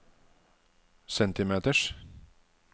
centimeters